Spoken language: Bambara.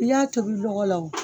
I y'a tobi dɔgɔ la